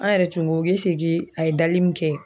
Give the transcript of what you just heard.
An yɛrɛ tun ko eseke a ye dali min kɛ.